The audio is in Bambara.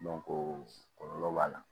kɔlɔlɔ b'a la